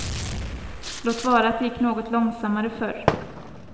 Låt vara att det gick något långsammare förr.